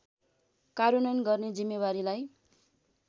कार्यान्वयन गर्ने जिम्मेवारीलाई